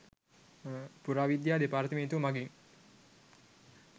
පුරාවිද්‍යා දෙපාර්තමේන්තුව මඟින්